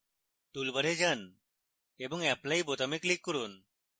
toolbar যান এবং apply বোতামে click করুন